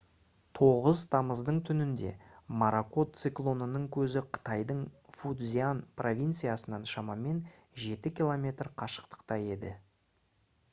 9 тамыздың түнінде моракот циклонының көзі қытайдың фуцзянь провинциясынан шамамен жеті километр қашықтықта еді